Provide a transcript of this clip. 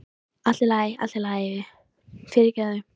Allt í lagi, allt í lagi, fyrirgefðu.